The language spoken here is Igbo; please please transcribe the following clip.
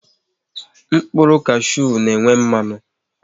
Mkpụrụ kashu n'enwe mmanụ